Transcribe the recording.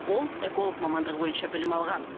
ол эколог мамандығы бойынша білім алған